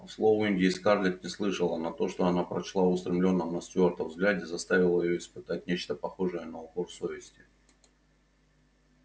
слов индии скарлетт не слышала но то что она прочла в устремлённом на стюарта взгляде заставило её испытать нечто похожее на укор совести